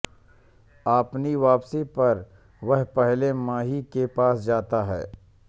अपनी वापसी पर वह पहले माही के पास जाता है